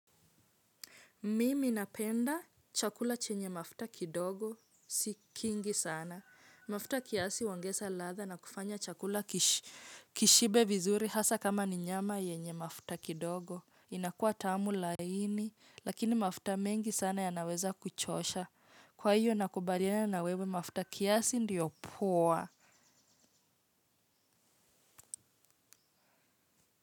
Mimi napenda chakula chenye mafuta kidogo, si kingi sana. Mafuta kiasi huongeza ladha na kufanya chakula kishibe vizuri hasa kama ni nyama yenye mafuta kidogo. Inakua tamu laini, lakini mafuta mengi sana yanaweza kuchosha. Kwa hiyo nakubaliana na wewe mafuta kiasi ndiyo poa.